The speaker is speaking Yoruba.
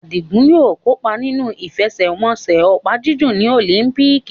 Adigun yóò kópa nínú ìfẹsẹ̀wọnsẹ̀ opa-jiju ní Olympics.